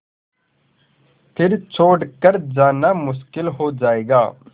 फिर छोड़ कर जाना मुश्किल हो जाएगा